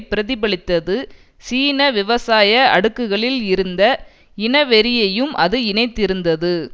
பிரதிபலித்தது சீன விவசாய அடுக்குகளில் இருந்த இனவெறியையும் அது இணைத்திருந்தது